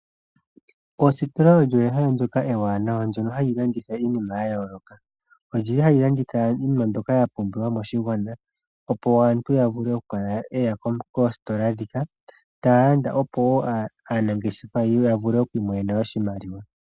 Ostola olyo ehala ndjoka ewanawa ndjono hali landitha iinima yayooloka. Olyili hali landitha iinima mbyoka yapumbiwa moshigwana opo aantu yavule okukala yeya kostola ndhika taya landa opo aanangeshefa yavule okwiimonena oshimaliwa.